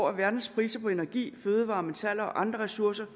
at verdenspriserne på energi fødevarer metaller og andre ressourcer